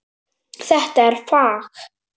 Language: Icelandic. Þetta er fag.